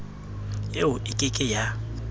eo e ke ke ya